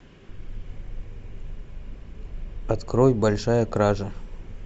открой большая кража